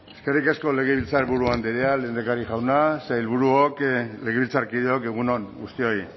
egun on eskerrik asko legebiltzarburu andrea lehendakari jauna sailburuok legebiltzarkideok egun on guztioi